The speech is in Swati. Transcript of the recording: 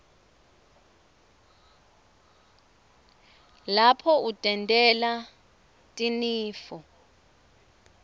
lapho utentela wna tinifo